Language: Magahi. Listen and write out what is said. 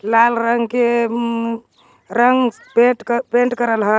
लाल रंग के उम रंग पेट- पेंट करल है।